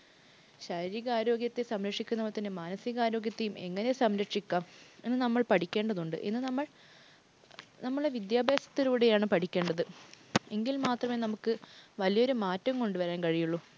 ശാരീരിക ആരോഗ്യത്തെ സംരക്ഷിക്കുന്നതുപോലെ തന്നെ മാനസിക ആരോഗ്യത്തെയും എങ്ങനെ സംരക്ഷിക്കാം എന്ന് നമ്മൾ പഠിക്കേണ്ടതുണ്ട് എന്ന് നമ്മൾ നമ്മളുടെ വിദ്യാഭ്യാസത്തിലൂടെയാണ് പഠിക്കേണ്ടത്. എങ്കിൽ മാത്രമേ നമുക്ക് വലിയൊരു മാറ്റം കൊണ്ടുവരാൻ കഴിയുള്ളു.